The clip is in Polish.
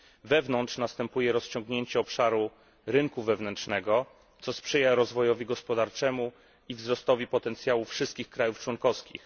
Wewnątrz następuje rozciągnięcie obszaru rynku wewnętrznego, co sprzyja rozwojowi gospodarczemu i wzrostowi potencjału wszystkich krajów członkowskich.